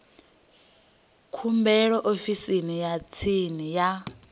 khumbelo ofisini ya tsini ya